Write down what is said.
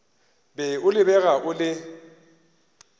be o lebega o le